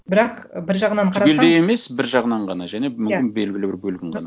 бірақ бір жағынан қарасаң түгелдей емес бір жағынан ғана және мүмкін белгілі бір бөлігін ғана